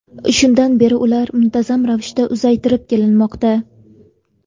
Shundan beri ular muntazam ravishda uzaytirib kelinmoqda.